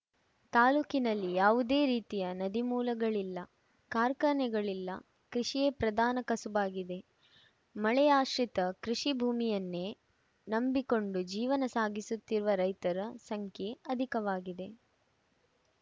ತಾಲೂಕಿನಲ್ಲಿ ಯಾವುದೇ ರೀತಿಯ ನದಿಮೂಲಗಳಿಲ್ಲ ಕಾರ್ಖಾನೆಗಳು ಇಲ್ಲ ಕೃಷಿಯೇ ಪ್ರಧಾನ ಕಸುಬಾಗಿದೆ ಮಳೆಯಾಶ್ರಿತ ಕೃಷಿ ಭೂಮಿಯನ್ನೇ ನಂಬಿಕೊಂಡು ಜೀವನ ಸಾಗಿಸುತ್ತಿರುವ ರೈತರ ಸಂಖ್ಯೆ ಅಧಿಕವಾಗಿದೆ